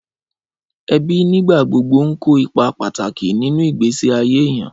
Ẹbí nígbà gbogbo ń kó ipa pàtàkì nínú ìgbésí ayé èèyàn